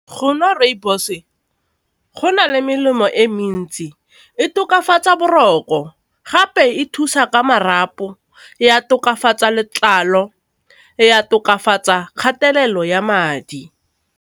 Go nwa rooibos gona le melemo e mentsi, e tokafatsa boroko gape e thusa ka marapo, ya tokafatsa letlalo, ya tokafatsa kgatelelo ya madi.